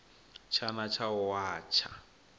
tshana tsha u a tsha